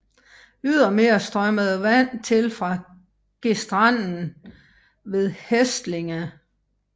Ydermerere strømmede vand til fra gestranden ved Hestlingen